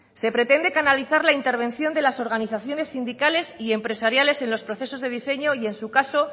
se pretende canalizar la intervención de las organizaciones sindicales y empresariales en los procesos de diseño y en su caso